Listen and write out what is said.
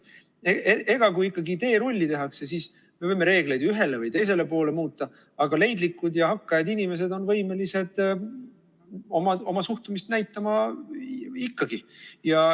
Kui ikkagi teerulli tehakse, siis me võime reegleid ühele või teisele poole muuta, aga leidlikud ja hakkajad inimesed on võimelised oma suhtumist näitama ikkagi.